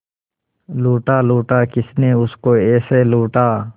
लूटा लूटा किसने उसको ऐसे लूटा